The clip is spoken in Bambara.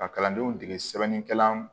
Ka kalandenw dege sɛbɛnnikɛla